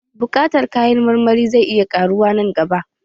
Buƙatar kayan marmari zai iya ƙaruwa nan gaba